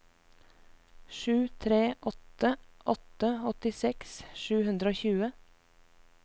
sju tre åtte åtte åttiseks sju hundre og tjue